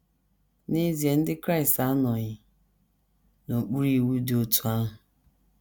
N’ezie, Ndị Kraịst anọghị n’okpuru iwu dị otú ahụ.